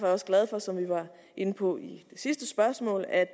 også glad for som vi var inde på i sidste spørgsmål at